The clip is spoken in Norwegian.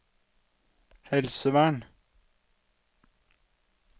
helsevern